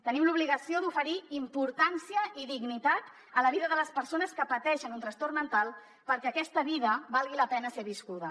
tenim l’obligació d’oferir importància i dignitat a la vida de les persones que pateixen un trastorn mental perquè aquesta vida valgui la pena ser viscuda